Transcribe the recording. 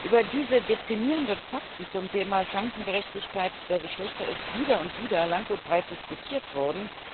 Über diese deprimierenden Fakten zum Thema Chancengerechtigkeit der Geschlechter ist wieder und wieder lang und breit diskutiert worden.